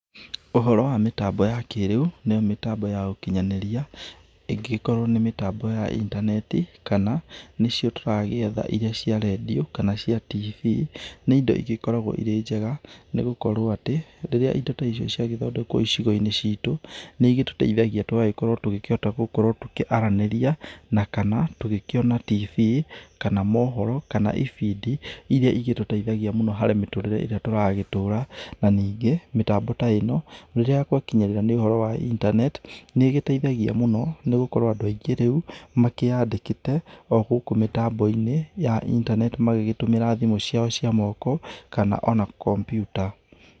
Ũhoro wa mĩtambo ya kĩrĩu, nĩyo mĩtambo ya ũkĩnyanĩria, ĩngĩgĩkorwo nĩ mĩtambo ya intaneti, kana nĩcio tũragĩetha irĩa cia redio, kana cia tibii. Nĩ indo igĩkoragwo irĩ njega nĩ gũkorwo atĩ, rĩrĩa indo ta icio cia gĩthondekwo icigo-inĩ ciĩtũ nĩ igĩtuteithagĩa tũgagĩkorwo tũgĩkĩhota gũkorwo tũkĩaranĩria, na kana tũgĩkĩona tibii, kana mohoro, kana ibindi irĩa igĩtũteithagia mũno harĩ mĩtũrĩre ĩrĩa turagĩtũra. Na ningĩ, mĩtambo ta ĩno, rĩrĩa gwakĩnyĩrĩra nĩ ũhoro wa internet nĩ ĩgĩteithagia mũno, nĩ gũkorwo andũ aingĩ rĩu makĩandĩkĩte o gũkũ mĩtambo-inĩ ya internet magĩgĩtũmĩra thimũ ciao cia moko, kana ona computer.